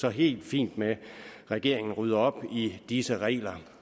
er helt fint med at regeringen rydder op i disse regler